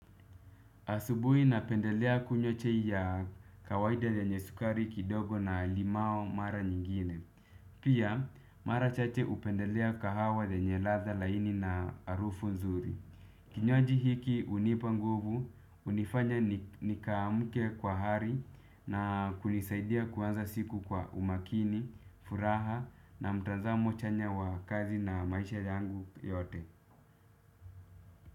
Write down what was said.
Asubuhi napendelea kunywa chai ya kawaida yenye sukari kidogo na limao mara nyingine. Pia mara chache hupendelea kahawa yenye ladha laini na harufu nzuri. Kinywaji hiki hunipa nguvu, hunifanya nikaamke kwa hari na kunisaidia kuanza siku kwa umakini, furaha na mtanzamo chanya wa kazi na maisha yangu yote.